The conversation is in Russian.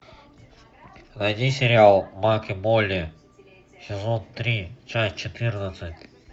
найди сериал майк и молли сезон три часть четырнадцать